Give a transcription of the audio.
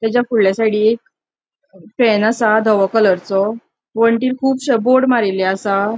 तचा फूडल्या साइडिक फॅन असा दवॊ कलरचो वण्टीर कूबश्यो बोर्ड मारीले असा.